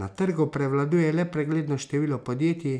Na trgu prevladuje le pregledno število podjetij,